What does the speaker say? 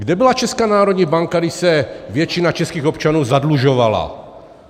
Kde byla Česká národní banka, když se většina českých občanů zadlužovala?